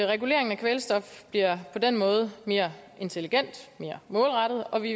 reguleringen af kvælstof bliver på den måde mere intelligent mere målrettet og vi